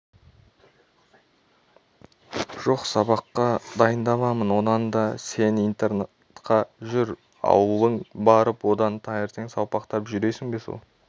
жоқ сабаққа дайындаламын онан да сен интернатқа жүр ауылыңа барып одан таңертең салпақтап жүресің бе сол